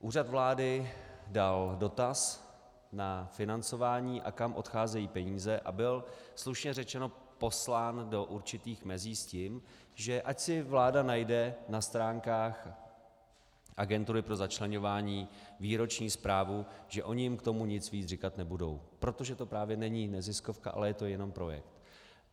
Úřad vlády dal dotaz na financování a kam odcházejí peníze a byl slušně řečeno poslán do určitých mezí s tím, že ať si vláda najde na stránkách agentury pro začleňování výroční zprávu, že oni jim k tomu nic víc říkat nebudou, protože to právě není neziskovka, ale je to jenom projekt.